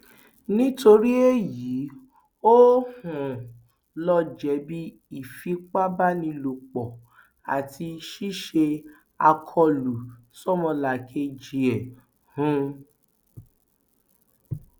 nítorí èyí ò um lọ jẹbi ìfipábánilòpọ àti ṣíṣe àkọlù sómolàkejì ẹ um